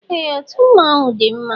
Ee, otú mmọnwụ dị mma